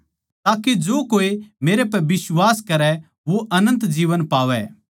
ताके जो कोए मेरे पै बिश्वास करै वो अनन्त जीवन पावै